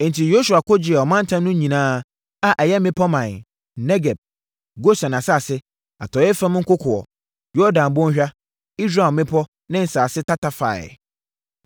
Enti, Yosua ko gyee ɔmantam no nyinaa a ɛyɛ mmepɔ ɔman, Negeb, Gosen asase, atɔeɛ fam nkokoɔ, Yordan Bɔnhwa, Israel mmepɔ ne nsase tata faeɛ.